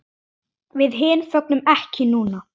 Við hin fögnum ekki núna.